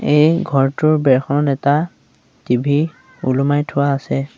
এই ঘৰটোৰ বেৰখনত এটা টি_ভি ওলমাই থোৱা আছে।